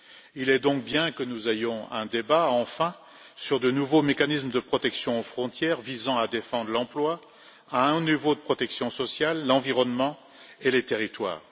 Il est donc bien que nous ayons, enfin, un débat sur de nouveaux mécanismes de protection aux frontières visant à défendre l'emploi, un haut niveau de protection sociale, l'environnement et les territoires.